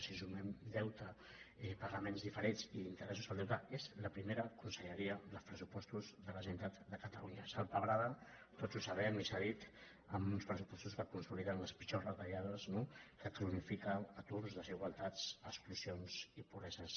si sumem deute pagaments diferits i interessos del deute és la prime·ra conselleria dels pressupostos de la generalitat de catalunya salpebrada tots ho sabem i s’ha dit amb uns pressupostos que consoliden les pitjors retallades no que cronifiquen aturs desigualtats exclusions i pobreses